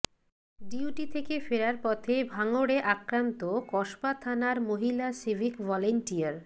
duty থেকে ফেরার পথে ভাঙড়ে আক্রান্ত কসবা থানার মহিলা সিভিক ভলেন্টিয়ার